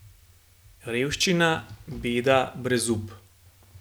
Revščina, beda, brezup.